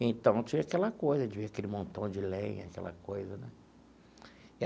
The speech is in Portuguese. Então, tinha aquela coisa de ver aquele montão de lenha, aquela coisa né.